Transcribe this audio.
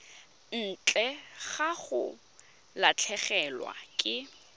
ntle ga go latlhegelwa ke